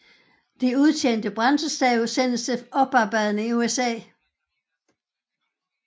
De udtjente brændselsstave sendes til oparbejdning i USA